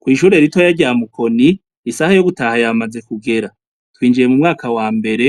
ku ishure ritoya rya Mukoni isaha yo gutaha yamaze kugera twinjiye mu mwaka wa mbere